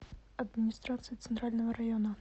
администрация центрального района